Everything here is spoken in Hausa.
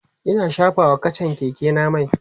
Ina shafa wa kachan Keke na mai